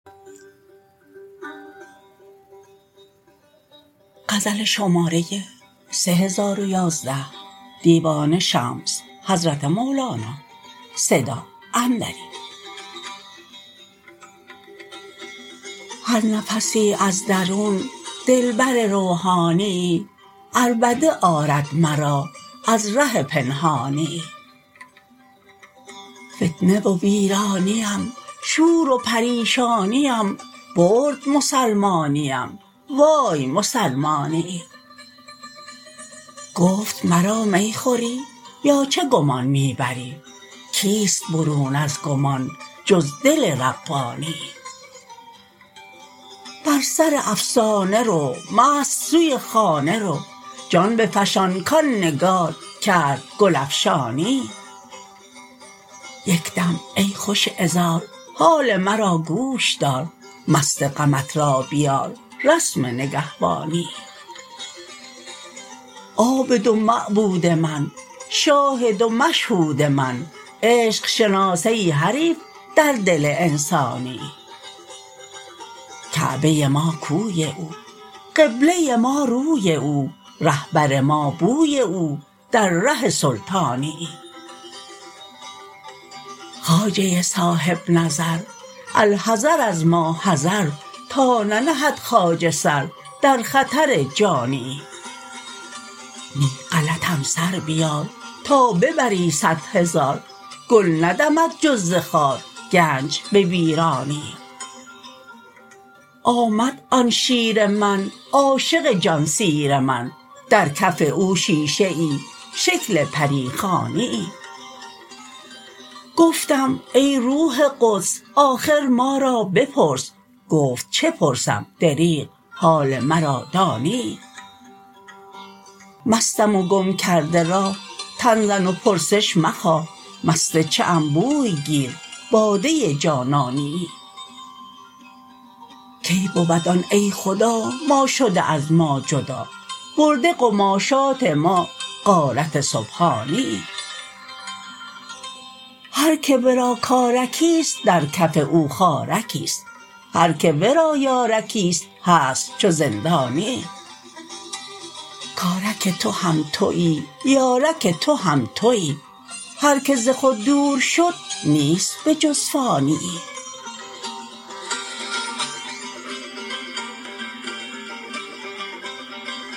هر نفسی از درون دلبر روحانیی عربده آرد مرا از ره پنهانیی فتنه و ویرانیم شور و پریشانیم برد مسلمانیم وای مسلمانیی گفت مرا می خوری یا چه گمان می بری کیست برون از گمان جز دل ربانیی بر سر افسانه رو مست سوی خانه رو جان بفشان کان نگار کرد گل افشانیی یک دم ای خوش عذار حال مرا گوش دار مست غمت را بیار رسم نگهبانیی عابد و معبود من شاهد و مشهود من عشق شناس ای حریف در دل انسانیی کعبه ما کوی او قبله ما روی او رهبر ما بوی او در ره سلطانیی خواجه صاحب نظر الحذر از ما حذر تا ننهد خواجه سر در خطر جانیی نی غلطم سر بیار تا ببری صد هزار گل ندمد جز ز خار گنج به ویرانیی آمد آن شیر من عاشق جان سیر من در کف او شیشه ای شکل پری خوانیی گفتم ای روح قدس آخر ما را بپرس گفت چه پرسم دریغ حال مرا دانیی مستم و گم کرده راه تن زن و پرسش مخواه مست چه ام بوی گیر باده جانانیی کی بود آن ای خدا ما شده از ما جدا برده قماشات ما غارت سبحانیی هر کی ورا کارکیست در کف او خارکیست هر کی ورا یارکیست هست چو زندانیی کارک تو هم توی یارک تو هم توی هر کی ز خود دور شد نیست بجز فانیی